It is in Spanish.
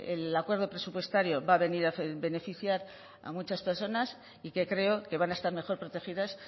el acuerdo presupuestario va a venir a beneficiar a muchas personas y que creo que van a estar mejor protegidas